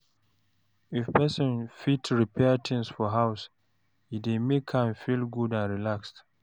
If person fit repair things for house, e dey make am feel good and relaxed